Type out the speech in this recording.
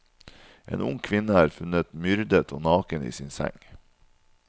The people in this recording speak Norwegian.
En ung kvinne er funnet myrdet og naken i sin seng.